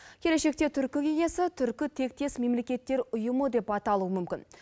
келешекте түркі кеңесі түркітектес мемлекеттер ұйымы деп аталуы мүмкін